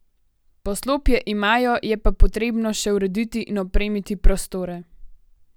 Poslopje imajo, je pa potrebno še urediti in opremiti prostore.